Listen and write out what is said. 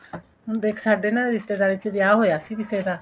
ਹੁਣ ਦੇਖ ਸਾਡੇ ਨਾ ਰਿਸ਼ਤੇਦਾਰੀ ਚ ਵਿਆਹ ਹੋਇਆ ਸੀ ਕਿਸੇ ਦਾ